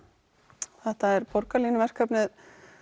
þetta borgarlínu verkefni